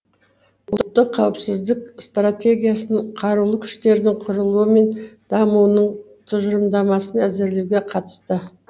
ұлттық қауіпсіздік стратегиясын қарулы күштердің құрылуы мен дамуының тұжырымдамасын әзірлеуге қатысты